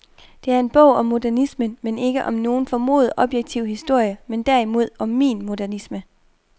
Det er en bog om modernismen, men ikke om nogen formodet objektiv historie, men derimod om min modernisme.